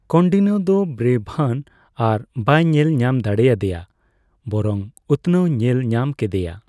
ᱠᱳᱱᱰᱤᱱᱱᱳ ᱫᱚ ᱵᱨᱮᱚᱵᱷᱟᱸᱱ ᱟᱨ ᱵᱟᱭ ᱧᱮᱞ ᱧᱟᱢᱫᱟᱲᱮᱟᱫᱮᱭᱟ ᱵᱚᱨᱚᱝ ᱩᱛᱱᱟᱹᱣ ᱧᱮᱞ ᱧᱟᱢ ᱠᱮᱫᱮᱭᱟ ᱾